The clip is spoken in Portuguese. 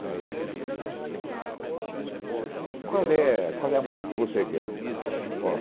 E aí ele dizia... Qual é a música que você quer?